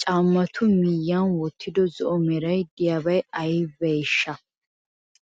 Caammatu miyiyan wottido zo'o meray diyobay aybeeshsha?